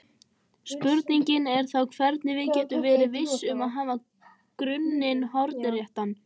Spurningin er þá hvernig við getum verið viss um að hafa grunninn hornréttan.